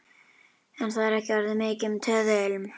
En það er ekki orðið mikið um töðuilm.